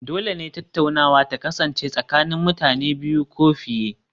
Dole ne tattaunawa ta kasance tsakanin mutane biyu ko fiye